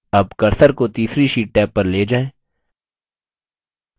tab cursor को तीसरी sheet tab पर ले जाएँ